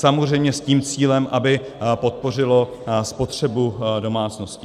Samozřejmě s tím cílem, aby podpořilo spotřebu domácností.